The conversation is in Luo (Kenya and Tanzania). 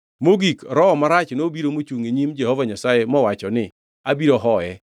Mogik, roho marach nobiro mochungʼ e nyim Jehova Nyasaye mowacho ni, ‘Abiro hoye.’